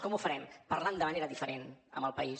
com ho farem parlant de manera diferent amb el país